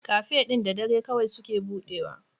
Cafe ɗin da dare kawai suke budewa.